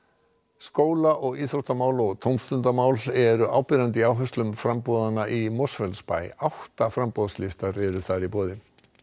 skólamál og íþrótta og tómstundamál eru áberandi í áherslum framboðanna í Mosfellsbæ átta framboðslistar eru þar í boði